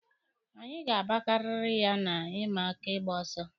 Anyị ga-agbakari ha na ịma aka ịgba ọsọ.